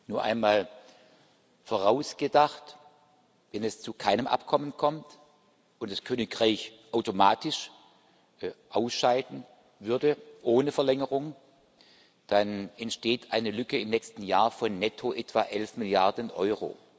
Nur einmal vorausgedacht Wenn es zu keinem Abkommen kommt und das Königreich automatisch ausscheiden würde, ohne Verlängerung, dann entsteht eine Lücke im nächsten Jahr von netto etwa elf Milliarden Euro.